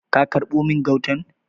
Ka karbo min gautan?